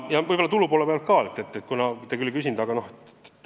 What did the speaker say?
Nüüd tulu poolest ka.